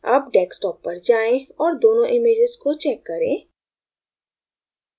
अब desktop पर जाएँ और दोनों images को check करें